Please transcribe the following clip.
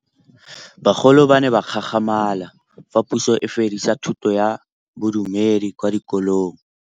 Bagolo ba ne ba gakgamala fa Pusô e fedisa thutô ya Bodumedi kwa dikolong.